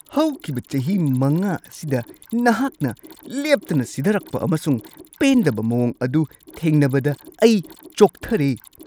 ꯍꯧꯈꯤꯕ ꯆꯍꯤ ꯵ ꯑꯁꯤꯗ ꯅꯍꯥꯛꯅ ꯂꯦꯞꯇꯅ ꯁꯤꯙꯔꯛꯄ ꯑꯃꯁꯨꯡ ꯄꯦꯟꯗꯕ ꯃꯑꯣꯡ ꯑꯗꯨ ꯊꯦꯡꯅꯕꯗ ꯑꯩ ꯆꯣꯛꯊꯔꯦ ꯫